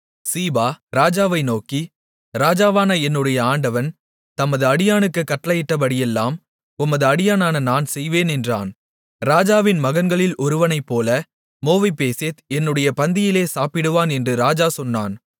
சீபா ராஜாவை நோக்கி ராஜாவான என்னுடைய ஆண்டவன் தமது அடியானுக்குக் கட்டளையிட்டபடியெல்லாம் உமது அடியானான நான் செய்வேன் என்றான் ராஜாவின் மகன்களில் ஒருவனைப்போல மேவிபோசேத் என்னுடைய பந்தியிலே சாப்பிடுவான் என்று ராஜா சொன்னான்